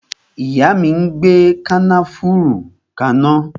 Ìyá mi ń gbe kànáfùrú kana